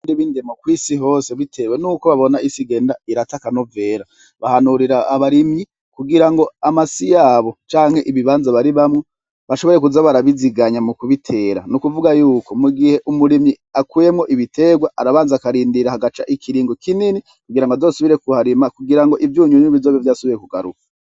Ri bindemo kw'isi hose, bitewe ni'uko babona isi igenda iratakanuvera bahanurira abarimyi kugira ngo amasi yabo canke ibibanza bari bamwo bashoboye kuzabarabiziganya mu kubitera ni ukuvuga yuko mu gihe umurimyi akuyemwo ibiterwa arabanza akarindira hagaca ikiringo kinini kugira ngo azosubire ku harima kugira ngo ivyunyu n bizoe vyoasubiye ku garufu.